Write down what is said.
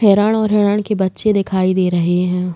हिरण और हिरण के बच्चे दिखाई दे रहे हैं।